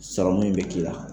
Sɔrɔmin be k'i la